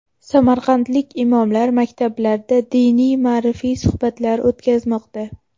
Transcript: Samarqandlik imomlar maktablarda diniy-ma’rifiy suhbatlar o‘tkazmoqda.